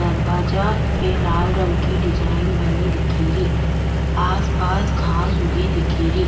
दरवाजा पे लाल रंग की डिजाइन बनी दिखेरी आस पास घास उगी दिखेरी।